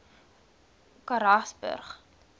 karasburg